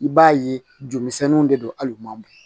I b'a ye jolimisɛnninw de don ali u ma bɔ